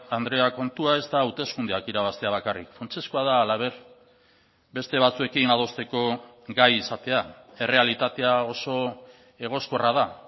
andrea kontua ez da hauteskundeak irabaztea bakarrik funtsezkoa da halaber beste batzuekin adosteko gai izatea errealitatea oso egoskorra da